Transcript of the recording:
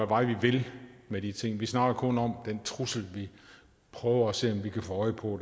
vej vi vil med de ting vi snakker kun om den trussel vi prøver at se om vi kan få øje på